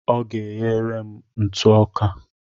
Ọ ga-eghere m ntụ ọka.